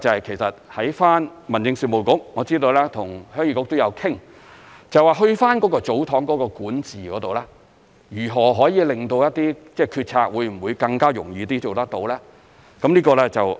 其實在民政事務局方面，我知道跟鄉議局也有商討，就祖堂的管治，如何可以令到一些決策更容易做到。